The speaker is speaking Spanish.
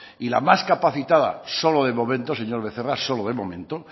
y la más capacitada solo de momento señor becerra solo de momento